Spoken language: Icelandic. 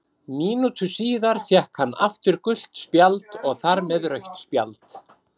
Mínútu síðar fékk hann aftur gult spjald og þar með rautt spjald.